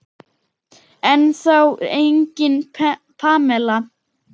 Ennþá engin Pamela.